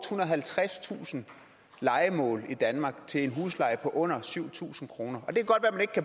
halvtredstusind lejemål i danmark til en husleje på under syv tusind kroner